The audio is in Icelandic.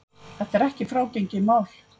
Þetta er ekki frágengið mál